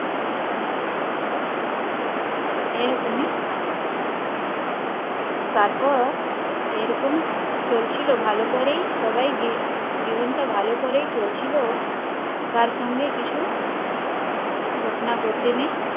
এরকমই তারপর এরকম চলছিল ভালো করে সবাই জী জীবনটা ভালো করেই চলছিল তার সাথে কিছু ঘটনা ঘটেনি